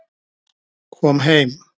Kom heim